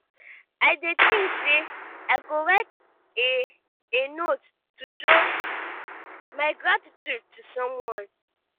i dey think say i go write a a note to show my gratitude to someone.